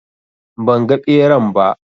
Ban ga ɓeran ba